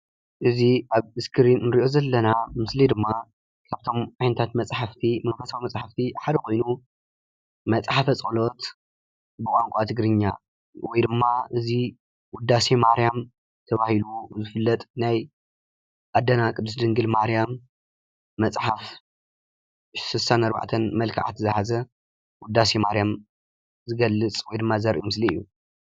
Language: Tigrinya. እዚ ኣብ እስክሪን ንሪኦ ዘለና ምስሊ ድማ ካብቶም ዓይነታተ መፃሕፍቲ ሓደ ኮይኑ መፅሓፈ ፀሎት ብቃንቃ ትግሪኛ ወይ ድማ እዚ ዉዳሴ ማርያም ተባሂሉ ይፍለጥ ናይ ኣዴናቅድስቲ ድንግል ማርያም መፅሓፍ 64 መልክዓት ዝሓዘ ዉዳሴ ማርያዝገልፅ ወይ ድማ ዝገልፅ ምስሊ እዩ ፡፡